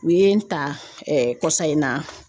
U ye n ta kɔsan in na